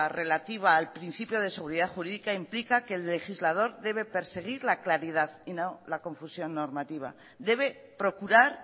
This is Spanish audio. relativa al principio de seguridad jurídica implica que el legislador debe perseguir la claridad y no la confusión normativa debe procurar